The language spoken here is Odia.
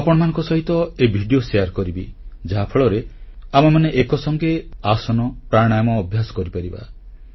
ମୁଁ ଆପଣମାନଙ୍କ ସହିତ ଏହି ଭିଡ଼ିଓ ସେୟାର କରିବି ଯାହାଫଳରେ ଆମେମାନେ ଏକ ସଙ୍ଗେ ଆସନ ପ୍ରାଣାୟାମ ଅଭ୍ୟାସ କରିପାରିବା